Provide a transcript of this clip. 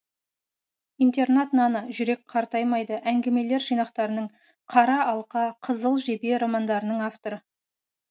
интернат наны жүрек қартаймайды әңгімелер жинақтарының қара алқа қызыл жебе романдарының авторы